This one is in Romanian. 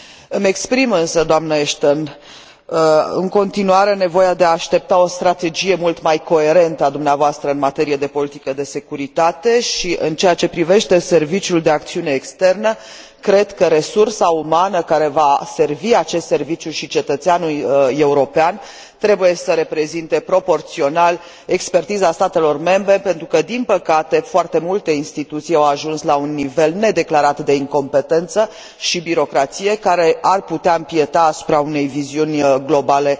Îmi exprim însă, doamnă Ashton, în continuare nevoia de a aștepta o strategie mult mai coerentă a dumneavoastră în materie de politică de securitate și, în ceea ce privește Serviciul pentru acțiune externă, cred că resursa umană care va servi acest Serviciu și cetățeanul european trebuie să reprezinte proporțional expertiza statelor membre, pentru că, din păcate, foarte multe instituții au ajuns la un nivel nedeclarat de incompetență și birocrație, care ar putea impieta asupra unei viziuni globale